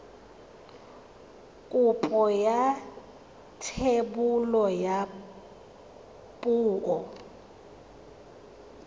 kopo ya thebolo ya poo